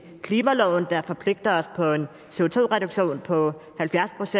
klimaloven der forpligter os på